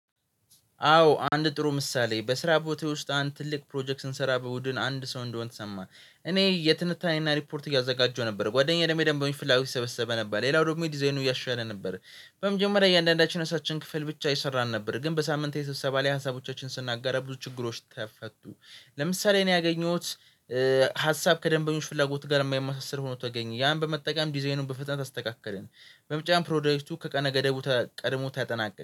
አዎ አንድ ጥሩ ምሳሌ በስራ ቦታዬ ውስጥ አንድ ትልቅ ፕሮጀክት ስንሰራ በቡድን አንድ ሰው እንደሆንን ተሰማን። እኔ የትንታኔና ሪፖርት እያዘጋጀሁ ነበር ጓደኛዬ ደሞ የደንበኞችን ፍላጎት እየሰበሰበ ነበር ሌላው ደግሞ ዲዛይኑን እያሻሻለ ነበር። በመጀመሪያ እያንዳንዳችን የራሳችን ክፍል ብቻ እየሰራን ነበር ግን በሳምንታዊ ስብሰባ ላይ ሀሳቦቻችንን ስናጋራ ብዙ ችግሮች ተፈቱ። ለምሳሌ እኔ ያገኘሁት የሀሳብ ከደንበኞች ፍላጎት ጋር የማይመሳሰል ሆኖ ተገኘ ያን በመጠቀም ዲዛይኑን በፍጥነት አስተካከለን። በመጨረሻም ፕሮጀክቱ ከቀነ ገደቡ ቀድሞ ተጠናቀቀ